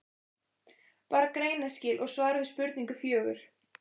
Bara greinaskil og svar við spurningu fjögur.